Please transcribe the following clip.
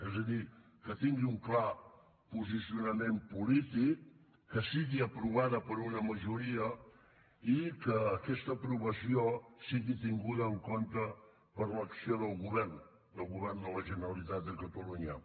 és a dir que tingui un clar posicionament polític que sigui aprovada per una majoria i que aquest aprovació sigui tinguda en compte per l’acció del govern del govern de la generalitat de catalunya